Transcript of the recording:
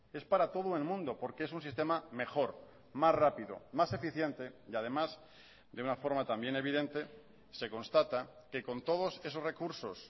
es para todo el mundo porque es un sistema mejor más rápido más eficiente y además de una forma también evidente se constata que con todos esos recursos